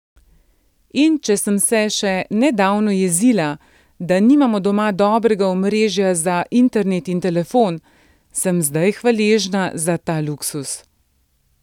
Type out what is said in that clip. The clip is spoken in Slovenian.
In če sem se še nedavno jezila, da nimamo doma dobrega omrežja za internet in telefon, sem zdaj hvaležna za ta luksuz.